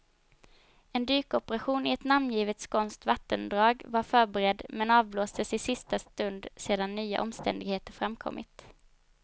En dykoperation i ett namngivet skånskt vattendrag var förberedd, men avblåstes i sista stund sedan nya omständigheter framkommit.